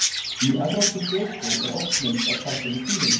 Í evrópskri þjóðtrú er oft minnst á karlinn í tunglinu.